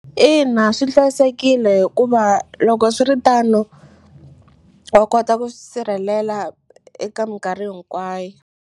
Ina swi hlayisekile hikuva loko swiritano wa kota ku swi sirhelela eka minkarhi hinkwayo.